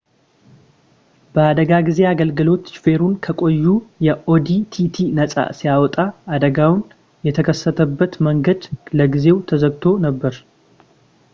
የአደጋ ጊዜ አገልግሎት ሾፌሩን ከቀዩ የኦዲ ቲቲ ነፃ ሲያወጣ አደጋው የተከሰተበት መንገድ ለጊዜው ተዘግቶ ነበር